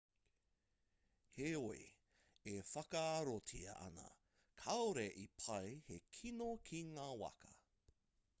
heoi e whakaarotia ana kāore i pā he kino ki ngā waka